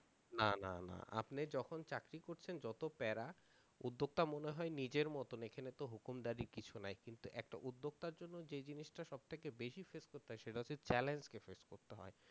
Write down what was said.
না না না আপনি যখন চাকরি করছেন যত প্যারা উদ্যোক্তা মনে হয় নিজের মতন হুকুম দারির কিছু নাই কিন্তু একটা উদ্যোক্তার জন্য যে জিনিস টা সব থেকে বেশি face করতে হয় সেটা হচ্ছে challenge কে face করতে হয়।